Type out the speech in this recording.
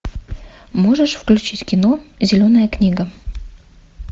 можешь включить кино зеленая книга